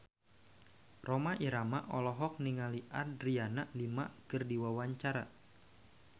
Rhoma Irama olohok ningali Adriana Lima keur diwawancara